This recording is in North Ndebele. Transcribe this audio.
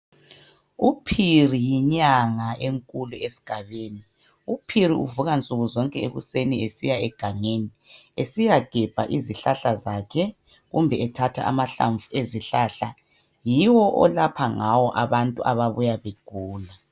UPhiri yinyanga enkulu esigabeni. UPhiri uvuka nsukuzonke ekuseni esiya egangeni esiyagebha izihlahla zakhe kumbe ethatha amahlamvu ezihlahla yiwo olapha ngawo abantu ababuya begula.